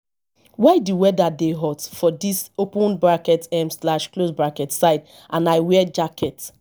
why the weather dey hot for dis um side and i wear jacket